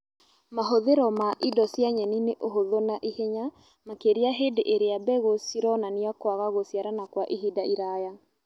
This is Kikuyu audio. Mahũthĩro ma indo cia nyeni nĩ ũhũthũ na ihenya, makĩria hĩndĩ ĩrĩa mbegũ cironania kwaga gũciarana Kwa ihinda iraya